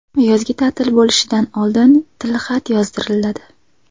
Yozgi ta’til bo‘lishidan oldin tilxat yozdiriladi.